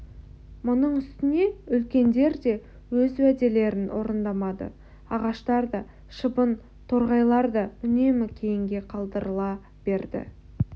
мұның үстіне үлкендер де өз уәделерін орындамады ағаштар да шыбын-торғайлар да үнемі кейінге қалдырыла берді